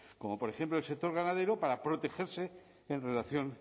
como por ejemplo el sector ganadero para protegerse en relación